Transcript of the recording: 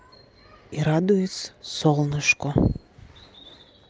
и радуюсь солнышку